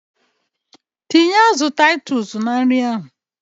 Tinye azụ Titus na nri ahụ!